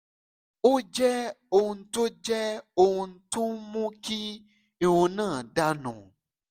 ó jẹ́ ohun tó jẹ́ ohun tó ń mú kí irun náà dà nù